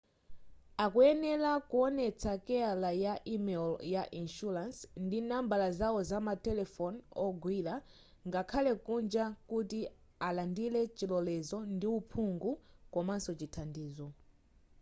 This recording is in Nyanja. akuyenela kuonetsa keyala ya imelo ya inshuransi ndi nambala zao zama telefoni ogwira ngakhale kunja kuti alandile chilolezo ndi uphungu komanso chithandizo